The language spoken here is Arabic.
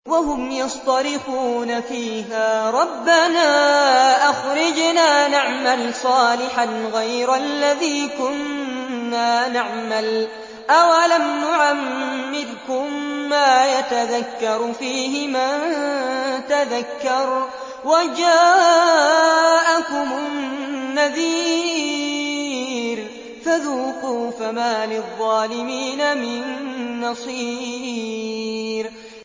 وَهُمْ يَصْطَرِخُونَ فِيهَا رَبَّنَا أَخْرِجْنَا نَعْمَلْ صَالِحًا غَيْرَ الَّذِي كُنَّا نَعْمَلُ ۚ أَوَلَمْ نُعَمِّرْكُم مَّا يَتَذَكَّرُ فِيهِ مَن تَذَكَّرَ وَجَاءَكُمُ النَّذِيرُ ۖ فَذُوقُوا فَمَا لِلظَّالِمِينَ مِن نَّصِيرٍ